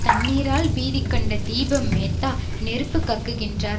தண்ணீரால் பீதி கண்ட தீப மேத்தா நெருப்பு கக்குகின்றார்